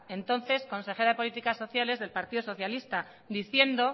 entonces consejera de políticas sociales del partido socialista diciendo